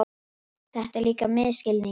Þetta er líka misskilningur.